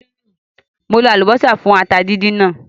Mo lo àlùbọ́sà fún ata díndín náà